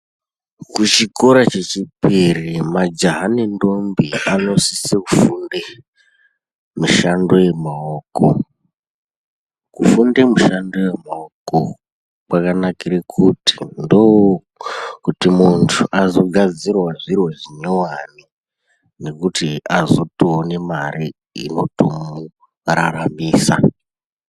Kuchikora chechipiri majaha nendombe anosise kufunde mishando yemaoko, kufunde mishando yemaoko kwakanakire kuti muntu azogadzirawo zvintu zvinyuwane nekuti azotoone mari inotomuraramisa.